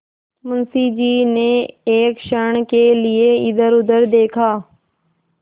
मुंशी जी ने एक क्षण के लिए इधरउधर देखा